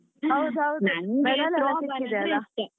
ಹೌದ್ ಹೌದು .